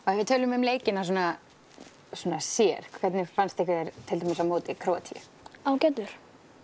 ef við tölum um leikina svona sér hvernig fannst ykkur til dæmis á móti Króatíu ágætlega